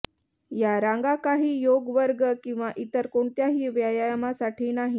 या रांगा काही योग वर्ग किंवा इतर कोणत्याही व्यायामासाठी नाही